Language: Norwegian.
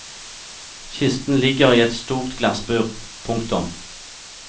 Kisten ligger i et stort glassbur. punktum